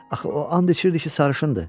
Axı o and içirdi ki, sarışındır.